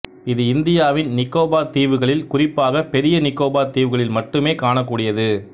இது இந்தியாவின்நிக்கோபார் தீவுகளில் குறிப்பாகப் பெரிய நிக்கோபார் தீவுகளில் மட்டுமே காணக்கூடியது